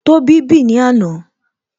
Tóbi bì ní àná